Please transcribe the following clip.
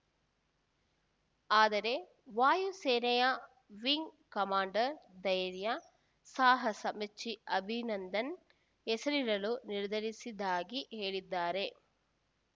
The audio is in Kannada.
ಆದರೆ ವಾಯು ಸೇನೆಯ ವಿಂಗ್‌ ಕಮಾಂಡರ್‌ ಧೈರ್ಯ ಸಾಹಸ ಮೆಚ್ಚಿ ಅಭಿನಂದನ್‌ ಹೆಸರಿಡಲು ನಿರ್ಧರಿಸಿದ್ದಾಗಿ ಹೇಳಿದ್ದಾರೆ